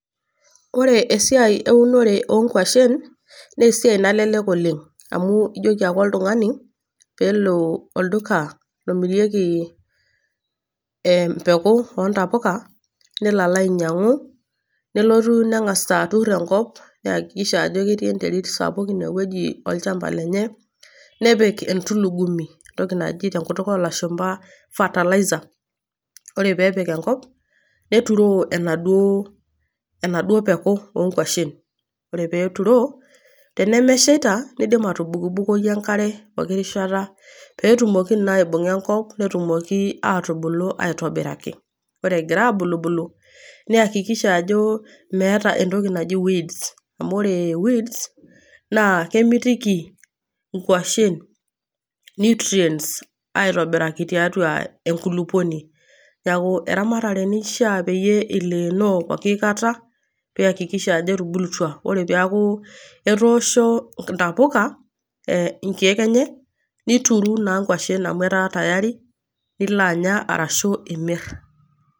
Ore esiai eunore oo nkwashen, naa esiai naalelek oleng', amu ijoiki ake oltung'ani pee elo ake olduka ake omirieki empeko oo ntapuka nelo alo ainyang'u, nelotu nelo atur enkop neakkikisha ajo ketii enterit sapuk inewueji olchamba lenye, nepik entulugumi entoki naji tenkutuk o ilashumba fertilizer. Ore pee epik enkop, neturoo enaduo peko oo nkwashen. Ore pee eturoo, tenemeshaita, neidim atubukbukoki enkare pooki rishata pee etumoki naa aibung'a enkop, pee etumoki aibung'a enkop pee etumoki atubulu aitobiraki , ore egira abulubulu ,niakikisha ajo meata entoki naji weeds . Amu ore entoki naji weeds naa kemitiki inkwashen nutrients aitobiriki tiatua enkulukuoni. Neaku eramatare naishaa pee eshili pooki kata, piakikisha ajo etubulutua. Ore pooki kata nidol ajo etoosho intapuka inkeek enye , nituru naa inkwashen amu ketaa taa tayari pee ilo anya ashu imir .